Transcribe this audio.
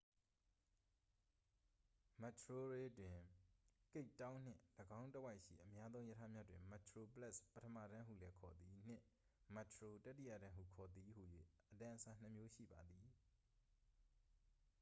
မက်တရိုဝရေး တွင် ကိပ်တောင်းနှင့် ၎င်းတစ်ဝိုက်ရှိ အများသုံးရထားများတွင် metroplus ပထမတန်းဟုလည်းခေါ်သည် နှင့် metro တတိယတန်းဟုခေါ်သည် ဟူ၍ အတန်းအစားနှစ်မျိုးရှိပါသည်။